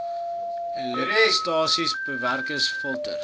elektrostatiese bewerkers filters